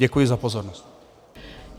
Děkuji za pozornost.